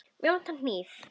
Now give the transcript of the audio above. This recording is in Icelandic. Mig vantar hníf.